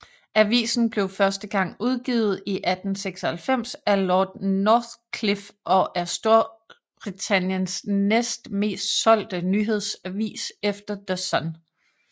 Avisen blev første gang udgivet i 1896 af Lord Northcliffe og er Storbritanniens næst mest solgte nyhedsavis efter The Sun